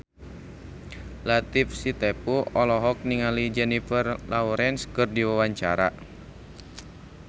Latief Sitepu olohok ningali Jennifer Lawrence keur diwawancara